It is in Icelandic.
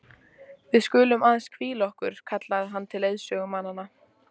Við skulum aðeins hvíla okkur, kallaði hann til leiðsögumannanna.